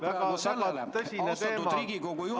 Väga tõsine teema, aga kahjuks ei ole see protseduuriline küsimus.